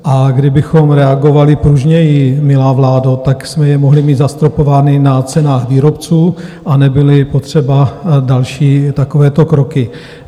A kdybychom reagovali pružněji, milá vládo, tak jsme je mohli mít zastropovány na cenách výrobců a nebyly potřeba další takovéto kroky.